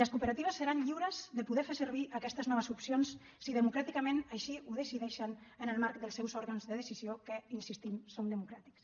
les cooperatives seran lliures de poder fer servir aquestes noves opcions si democràticament així ho decideixen en el marc dels seus òrgans de decisió que hi insistim són democràtics